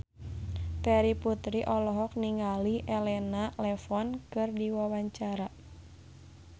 Terry Putri olohok ningali Elena Levon keur diwawancara